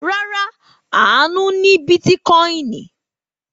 Rárá, Àánú ní bítíkọ́ìn.